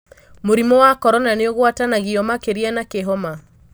Mũrimũ wa Korona nĩũguatanagio makĩria na kĩhoma?